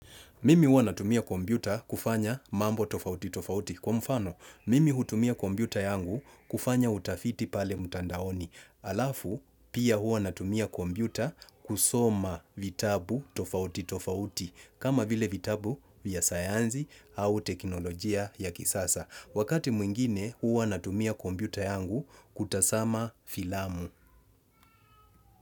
Mimi hua natumia kompyuta kufanya mambo tofauti tofauti. Kwa mfano, mimi hutumia kompyuta yangu kufanya utafiti pale mtandaoni. Alafu, pia hua natumia kombiuta kusoma vitabu tofauti tofauti. Kama vile vitabu vya sayansi au teknolojia ya kisasa. Wakati mwingine huwa natumia kompyuta yangu kutazama filamu.